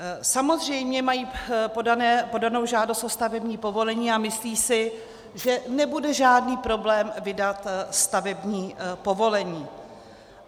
Samozřejmě mají podanou žádost o stavební povolení a myslí si, že nebude žádný problém vydat stavební povolení.